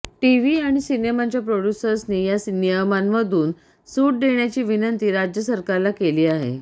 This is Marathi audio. टीव्ही आणि सिनेमांच्या प्रोड्युसर्सनी या नियमांमधून सुट देण्याची विनंती राज्यसरकारला केली आहे